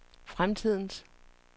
fremtidens